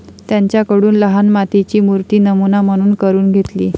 त्यांच्याकडून लहान मातीची मूर्ती नमुना म्हणून करून घेतली.